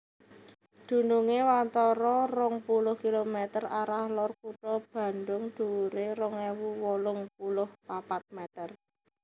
Dunungé watara rong puluh kilometer arah lor Kutha Bandhung dhuwuré rong ewu wolung puluh papat mèter